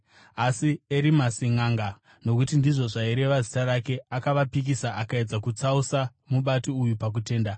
Asi Erimasi nʼanga (nokuti ndizvo zvaireva zita rake) akavapikisa akaedza kutsausa mubati uyu pakutenda.